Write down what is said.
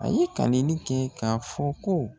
A ye kaleli kɛ k'a fɔ ko